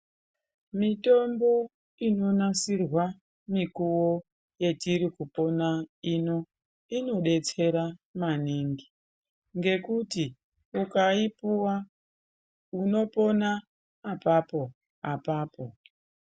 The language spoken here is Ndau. Mitombo inonasirwa mikuwo yetiri kupona ino inodetsera maningi, ngekuti ukaipuwa unopona apapo apapo.